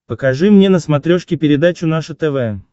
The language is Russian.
покажи мне на смотрешке передачу наше тв